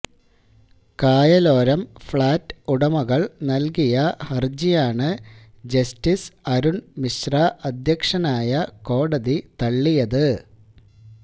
കായലോരം flat ഉടമകള് നല്കിയ ഹരജിയാണ് ജസ്റ്റിസ് അരുണ് മിശ്ര അധ്യക്ഷനായ കോടതി തള്ളിയത്